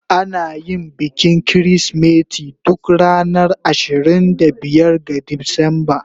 Ana yin bikin Kirsimeti duk ranar ashirin da biyar ga Disamba.